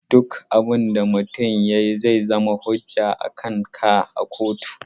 Duk abun da mutum ya yi zai zama hujja akanka a kotu.